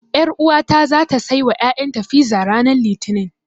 Ƴaruwata zata saiwa ƴaƴanta fiza ranar Litinin.